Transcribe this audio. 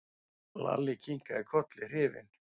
Lalli kinkaði kolli hrifinn.